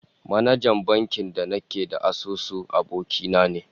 Manajan bankin da nake da asusu, aboki na ne